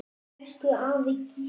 Elsku afi Gísli.